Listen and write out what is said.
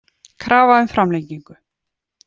Krafa um framlengingu